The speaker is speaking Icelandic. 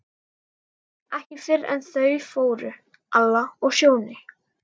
Ekki fyrr en eftir að þau fóru, Alla og Sjóni.